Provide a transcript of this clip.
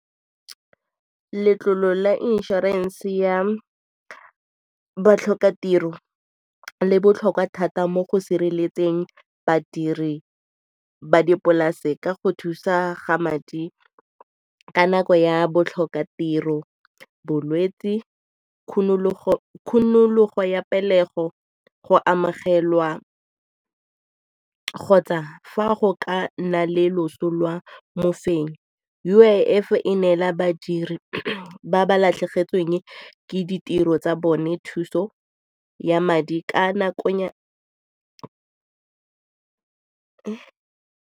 Letlole la inšorense ya batlhokatiro le botlhokwa thata mo go sireletseng badiri ba dipolase ka go thusa ga madi ka nako ya botlhokatiro, bolwetse, ya pelego, go amogelwa kgotsa fa go ka nna le loso lwa mo U_I_F e neela badiri ba ba latlhegetsweng ke ditiro tsa bone thuso ya madi ka nako .